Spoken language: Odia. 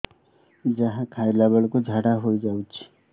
ଯାହା ଖାଇଲା ବେଳକୁ ଝାଡ଼ା ହୋଇ ଯାଉଛି